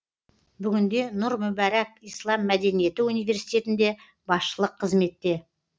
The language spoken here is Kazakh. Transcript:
бүгінде нұр мүбәрак ислам мәдениеті университетінде басшылық қызметте